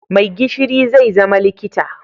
Maigishiri zai zama likita